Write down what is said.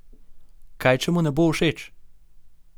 Kaj če mu ne bo všeč?